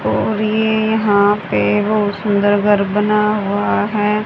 और ये यहा पे बहुत सुंदर घर बना हुआ है।